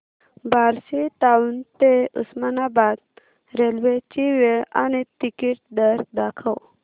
Barshi town ते Osmanabad railway ची वेळ आणि तिकीट दर दाखव